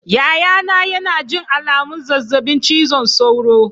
Yayana yana jin alamun zazzabin cizon sauro.